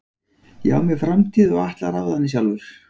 Ég á mér framtíð og ég ætla að ráða henni sjálfur.